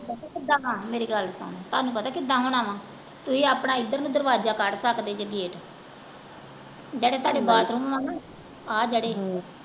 ਮੇਰੀ ਗੱਲ ਸੁਨ ਤੁਹਾਨੂੰ ਪਤਾ ਕਿੱਦਾਂ ਹੋਣਾ ਆ ਤੁਸੀਂ ਆਪਣਾ ਏਧਰ ਨੂੰ ਦਰਵਾਜਾ ਕੱਢ ਸਕਦੇ ਜੇ gate ਜਿਹੜੇ ਤੁਹਾਡੇ bathroom ਆ ਨਾ ਹਮ ਆ ਜਿਹੜੇ